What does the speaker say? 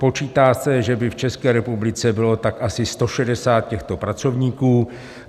Počítá se, že by v České republice bylo tak asi 160 těchto pracovníků.